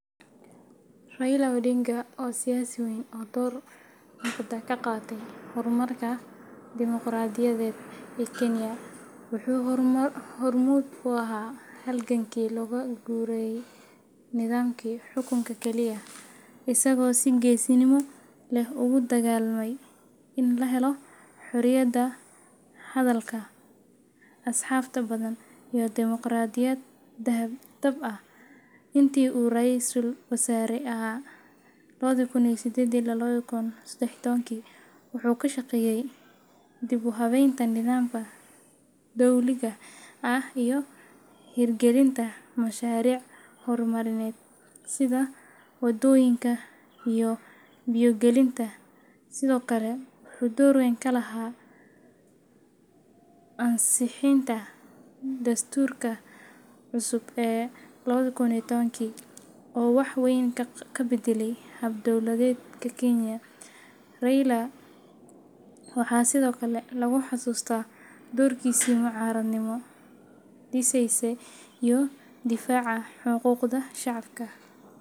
Raila Odinga waa siyaasi weyn oo door muuqda ka qaatay horumarka dimoqraadiyadeed ee Kenya. Wuxuu hormuud u ahaa halgankii looga guurayay nidaamkii xukunka keliya, isagoo si geesinimo leh ugu dagaallamay in la helo xorriyadda hadalka, axsaabta badan, iyo dimoqraadiyad dhab ah. Intii uu Ra’iisul Wasaare ahaa lawadi kun iyo sideedi ila lawadi kun iyo sedax iyo tobanki wuxuu ka shaqeeyay dib-u-habeynta nidaamka dowliga ah iyo hirgelinta mashaariic horumarineed sida waddooyinka iyo biyo gelinta. Sidoo kale, wuxuu door weyn ku lahaa ansixinta dastuurka cusub ee lawadi kun iyo tobanki oo wax weyn ka beddelay hab-dowladeedka Kenya. Raila waxaa sidoo kale lagu xasuustaa doorkiisii mucaaradnimo dhisaysa iyo difaaca xuquuqda shacabka.